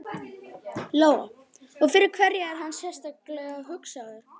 Lóa: Og fyrir hverja er hann sérstaklega hugsaður?